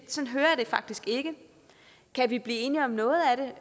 faktisk ikke kan vi blive enige om noget